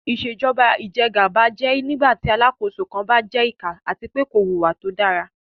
Ìṣèjọ́ba ìjẹ́gàba jẹ́ nígbàtí Alákóso kan jẹ ìkà àti pé kò wùwá tó dára